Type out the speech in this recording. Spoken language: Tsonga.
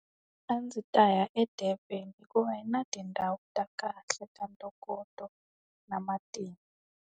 A ndzi ta ya eDurban hikuva yi na tindhawu ta kahle ta ntokoto, na matimu.